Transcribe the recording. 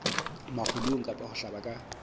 makgulong kapa ho hlaba ka